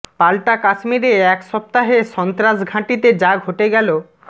পাল্টা কাশ্মীরে এক সপ্তাহে সন্ত্রাস ঘাঁটিতে যা ঘটে গেল